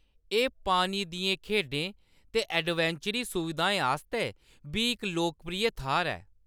एह्‌‌ पानी दियें खेढें ते एडवेंचरी सुविधाएं आस्तै बी इक लोकप्रिय थाह्‌र ऐ।